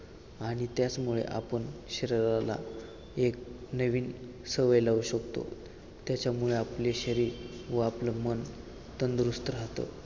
आणि त्याचमुळे आपण शरीराला एक नवीन सवय लावू शकतो त्याच्यामुळे आपले शरीर व आपलं मन तंदुरुस्त राहतं